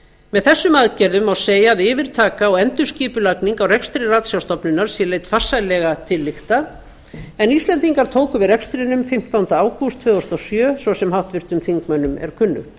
með þessum aðgerðum má segja að yfirtaka og endurskipulagning á rekstri ratsjárstofnunar sé leidd farsællega til lykta en íslendingar tóku við rekstrinum fimmtánda ágúst tvö þúsund og sjö svo sem háttvirtum þingmönnum er kunnugt